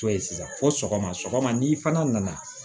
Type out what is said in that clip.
To ye sisan fo sɔgɔma sɔgɔma ni fana nana